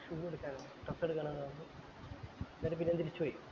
തുണി എടുക്കാനാ കത്ത് എടുക്കാനാ പറഞ്ഞ് ന്നിട്ട് പിന്നേം തിരിച്ചു പോയി